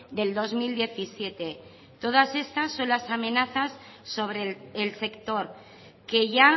de dos mil diecisiete todas estas son amenazas sobre el sector que ya